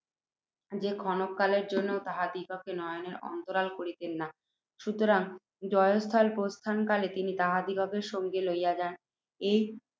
যে ক্ষণকালের জন্যেও তাহাদিগকে নয়নের অন্তরাল করিতেন না। সুতরাং, জয়স্থল প্রস্থানকালে তিনি তাহাদিগকে সঙ্গে লইয়া যান।